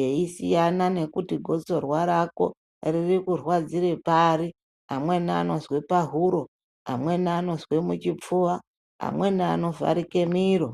eyisiyana nekuti gosorwa rako riri kurwadzire pari amweni anozwe pahuro amweni anozwe muchipfuwa amweni anovharike miro.